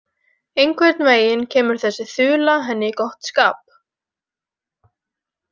Einhvern veginn kemur þessi þula henni í gott skap.